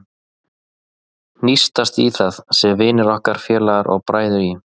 Hnýsast í það, sem vinir okkar, félagar og bræður í